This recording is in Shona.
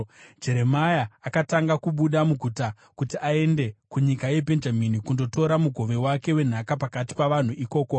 Jeremia akatanga kubuda muguta kuti aende kunyika yeBhenjamini kundotora mugove wake wenhaka pakati pavanhu ikoko.